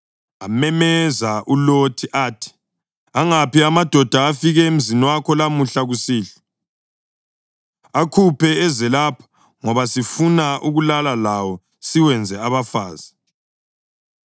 Amemeza uLothi athi, “Angaphi amadoda afike emzini wakho lamuhla kusihlwa? Akhuphe eze lapha ngoba sifuna ukulala lawo siwenze abafazi.”